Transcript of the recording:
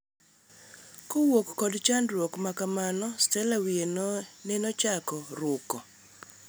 kowuok kod chandruok makamano, Stella wiye nenochako ruko.